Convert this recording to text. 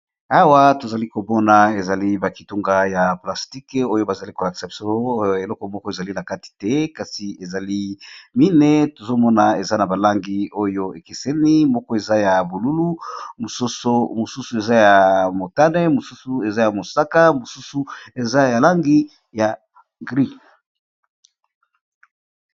Awa tozalikomona ezali ba kitunga ya plastique oyo nazalikomona biso eloko moko ezali nakati te na yango ezali mine tozokomona eza na balangi ekeseni moko eza ya bonzinga, motani, mosaka pe na mbwe.